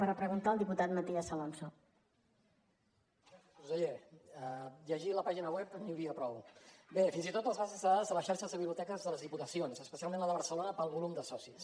conseller llegint la pàgina web n’hi hauria prou bé fins i tot les bases de dades de les xarxes de biblioteques de les diputacions especialment la de barcelona pel volum de socis